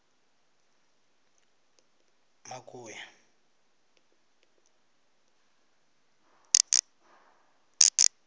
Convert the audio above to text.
makuya